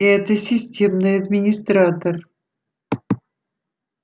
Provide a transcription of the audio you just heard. это системный администратор